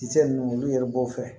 Kisɛ ninnu olu yɛrɛ b'o fɛ